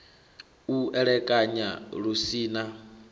u elekanya lu si na